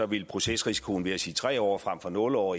ville procesrisikoen ved at sige tre år frem for nul år